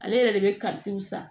Ale yɛrɛ de bɛ karitɔn san